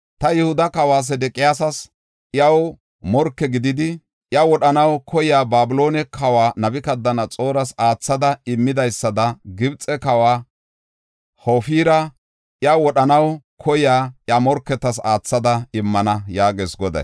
Ta Yihuda kawa Sedeqiyaasa iyaw morke gididi, iya wodhanaw koyiya Babiloone kawa Nabukadanaxooras aathada immidaysada Gibxe kawa Hofira iya wodhanaw koyiya iya morketas aathada immana” yaagees Goday.